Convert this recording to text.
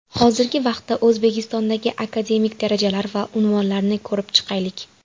Hozirgi vaqtda O‘zbekistondagi akademik darajalar va unvonlarni ko‘rib chiqaylik.